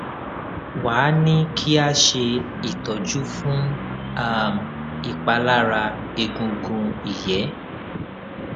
wá a ní kí a ṣe ìtọjú fún um ìpalára egungun ìyé